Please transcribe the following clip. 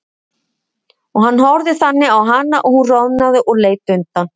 Og hann horfði þannig á hana að hún roðnaði og leit undan.